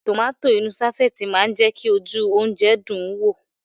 Tomato inú sáṣẹ́ẹ̀tì máa ń jẹ́ kí ojú oúnjẹ dùn ún wò